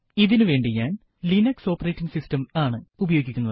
ഇതിനു വേണ്ടി ഞാൻ ഉബുണ്ടു 1004 ആണ് ഉപയോഗിക്കുന്നത്